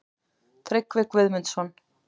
Tryggvi Guðmundsson.